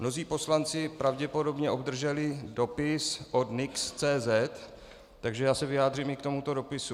Mnozí poslanci pravděpodobně obdrželi dopis od nix.cz, takže já se vyjádřím i k tomuto dopisu.